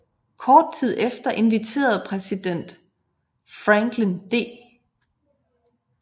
Kort tid efter inviterede præsident Franklin D